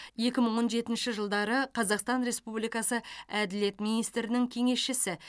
екі мың он жетінші жылдары қазақстан республикасы әділет министрінің кеңесшісі